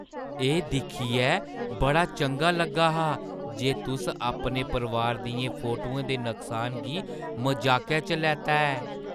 एह् दिक्खियै बड़ा चंगा लग्गा हा जे तुस अपने परोआर दियें फोटुएं दे नुकसान गी मजाकै च लैता ऐ।